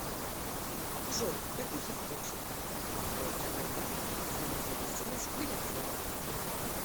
джой в каких источниках описывается война за независимость греции